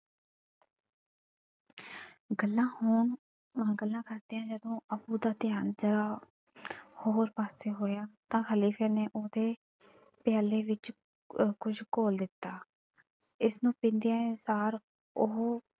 ਗੱਲਾਂ ਹੋਣ ਅਹ ਗੱਲਾਂ ਕਰਦਿਆਂ ਜਦੋਂ ਅੱਬੂ ਦਾ ਧਿਆਨ ਜ਼ਰਾ ਹੋਰ ਪਾਸੇ ਹੋਇਆ ਤਾਂ ਖ਼ਲੀਫ਼ੇ ਨੇ ਉਹਦੇ ਪਿਆਲੇ ਵਿੱਚ ਕੁਝ ਘੋਲ਼ ਦਿੱਤਾ। ਇਸਨੂੰ ਪੀਂਦਿਆਂ ਸਾਰ ਉਹ,